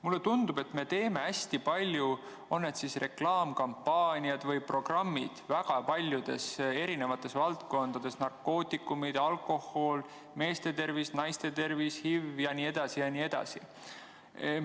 Mulle tundub, et me teeme hästi palju kas reklaamikampaaniaid või programme väga paljudes valdkondades: narkootikumid, alkohol, meeste tervis, naiste tervis, HIV jne.